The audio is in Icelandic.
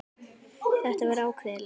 Þetta var ákveðin lexía.